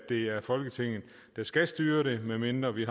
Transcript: det er folketinget der skal styre det medmindre vi